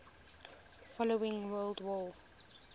following world war